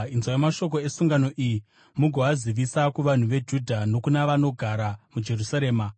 “Inzwai mashoko esungano iyi mugoazivisa kuvanhu veJudha nokuna vanogara muJerusarema.